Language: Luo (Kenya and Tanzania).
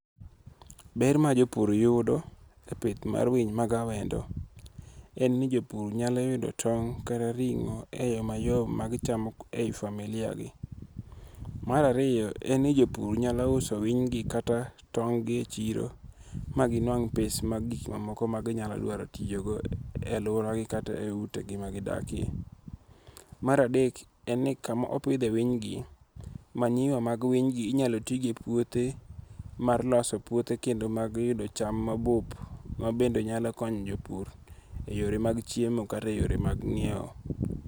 Ber ma jopur yudo, e pith mar winy mag awendo, en ni jopur nyalo yudo tong' kata ringo' e yo mayom magichamo e yi familia gi marariyo en ni jopur nyalo uso winygi kata tong' gi e chiro maginwang' pes mag gik mamoko maginyalo dwaro toyigo e aluoragi kata e utegi magidakie, maradek en ni kama opithe winygi manyiwa mag winygi inyalo ti godo e puothe mar loso puothe kendo mag yugo cham mabup ma bende nyalo konyo jopur e yore mag chiemo kata e yore mag nyiewo.